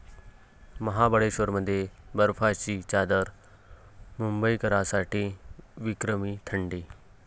महाबळेश्वरमध्ये बर्फाची चादर, मुंबईकरांसाठी विक्रमी थंडी